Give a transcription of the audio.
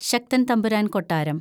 ശക്തന്‍ തമ്പുരാന്‍ കൊട്ടാരം